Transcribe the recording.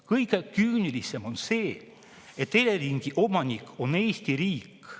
Kõige küünilisem on see, et Eleringi omanik on Eesti riik.